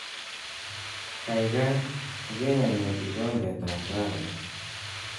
Kaikai ikeng anyor kikombetab kahawek